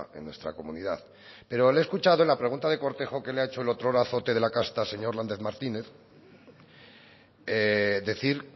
en nuestra comunidad pero le he escuchado en la pregunta de cortejo que le ha hecho el otrora azote de la casta señor lander martínez decir